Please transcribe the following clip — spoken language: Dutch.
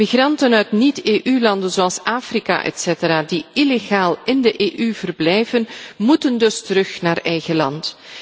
Migranten uit niet EU landen zoals Afrika die illegaal in de EU verblijven, moeten dus terug naar eigen land.